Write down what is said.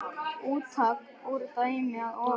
Úttak úr dæminu að ofan